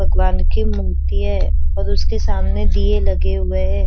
भगवान की मूर्ति है और उसके सामने दिये लगे हुए है।